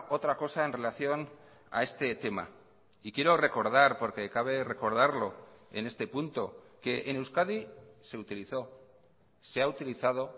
otra cosa en relación a este tema y quiero recordar porque cabe recordarlo en este punto que en euskadi se utilizó se ha utilizado